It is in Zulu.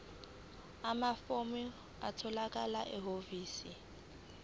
amafomu atholakala ehhovisi